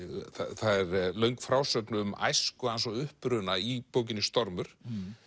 það er löng frásögn um æsku hans og uppruna í bókinni stormur